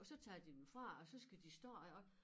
Og så tager de dem fra og så skal de stå deroppe